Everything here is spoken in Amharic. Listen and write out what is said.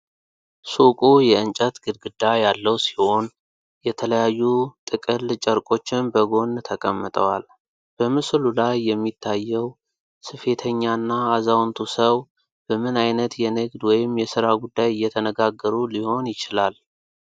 ሱቁ የእንጨት ግድግዳ ያለው ሲሆን፣ የተለያዩ ጥቅል ጨርቆችም በጎን ተቀምጠዋል። በምስሉ ላይ የሚታየው ስፌተኛና አዛውንቱ ሰው በምን ዓይነት የንግድ ወይም የሥራ ጉዳይ እየተነጋገሩ ሊሆን ይችላል?